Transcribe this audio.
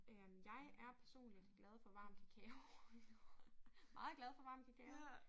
Øh jeg er personligt glad for varm kakao. Meget glad for varm kakao